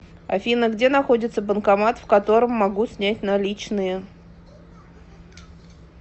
афина где находится банкомат в котором могу снять наличные